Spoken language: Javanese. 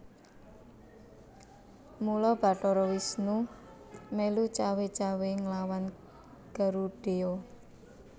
Mula Bathara Wisnu mèlu cawé cawé nglawan Garudheya